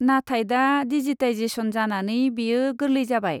नाथाय दा डिजिटाइजेसन जानानै बेयो गोरलै जाबाय।